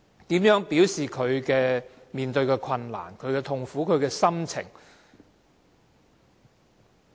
如何表示面對的困難、痛苦和心情？